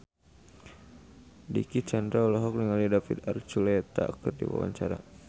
Dicky Chandra olohok ningali David Archuletta keur diwawancara